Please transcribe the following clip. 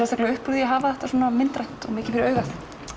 upp úr því að hafa þetta svona myndrænt og mikið fyrir augað